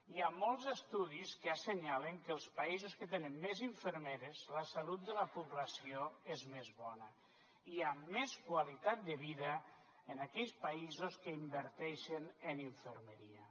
hi ha molts estudis que assenyalen que en els països que tenen més infermeres la salut de la població és més bona i amb més qualitat de vida en aquells països que inverteixen en infermeria